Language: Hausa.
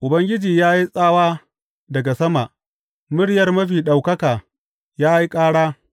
Ubangiji ya yi tsawa daga sama; muryar Mafi Ɗaukaka ya yi kāra.